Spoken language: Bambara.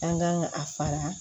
An kan ka a fara